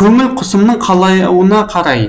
көңіл құсымның қалауына қарай